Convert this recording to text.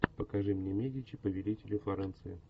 покажи мне медичи повелители флоренции